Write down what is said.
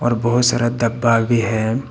बहुत सारा दब्बा भी है।